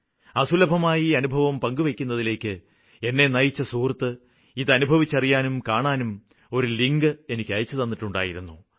അസുലഭമായ ഈ അനുഭവം പങ്കുവെയ്ക്കുന്നതിലേയ്ക്ക് എന്നെ നയിച്ച സുഹൃത്ത് ഇതനുഭവിച്ചറിയാനും കാണാനും ഒരു ലിങ്ക് എനിയ്ക്ക് അയച്ചു തന്നിട്ടുണ്ടായിരുന്നു